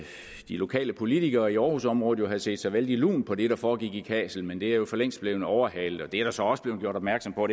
lokale politikere i aarhusområdet jo havde set sig vældig lune på det der foregik i kassel men det er jo for længst blevet overhalet det er der så også blevet gjort opmærksom på